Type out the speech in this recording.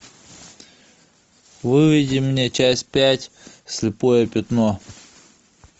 выведи мне часть пять слепое пятно